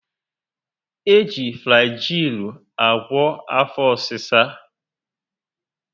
E ji Flajịịlụ agwo afọ ọsịsa